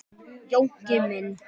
Jónki minn.